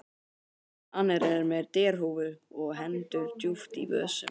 Annar er með derhúfu og hendur djúpt í vösum.